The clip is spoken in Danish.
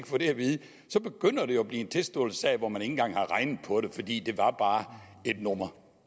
få det at vide begynder det jo at blive en tilståelsessag om at engang har regnet på det fordi det bare bare var et nummer